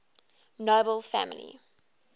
nobel family